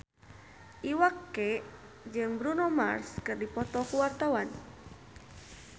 Iwa K jeung Bruno Mars keur dipoto ku wartawan